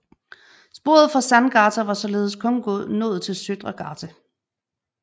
Sporet fra Sandgata var således kun nået til Søndre gate